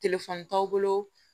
t'aw bolo